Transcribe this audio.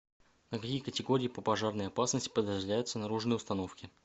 на какие категории по пожарной опасности подразделяются наружные установки